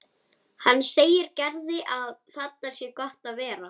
Hann segir Gerði að þarna sé gott að vera.